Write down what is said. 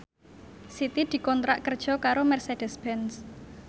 Siti dikontrak kerja karo Mercedez Benz